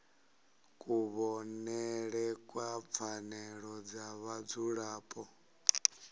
kuvhonele kwa pfanelo dza vhadzulapo